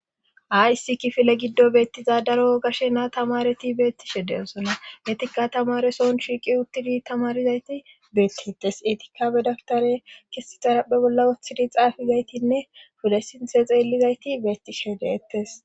Ayssi kifile giddo beettiza daro ogashe naa tamareti beettishe deosona etikka tamaresoon shiiqi uttidi tamarizayti beettites etikabe dagtare kisi xarapphe bolla woththidi xaafizaytinne fule sinte xeellizayti beettishe deettes